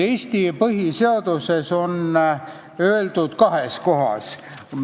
Eesti põhiseaduses on sellest räägitud kahes kohas.